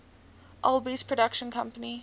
alby's production company